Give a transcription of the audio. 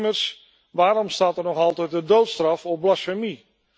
Immers, waarom staat er nog altijd de doodstraf op blasfemie?